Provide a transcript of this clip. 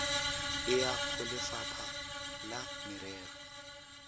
e ya golefapha la merero